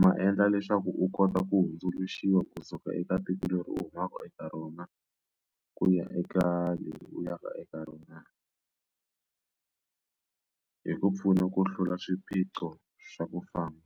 ma endla leswaku u kota ku hundzuluxiwa kusuka eka tiko leri u humaka eka rona ku ya eka leri u ya ka eka rona hi ku pfuna ku hlula swiphiqo swa ku famba.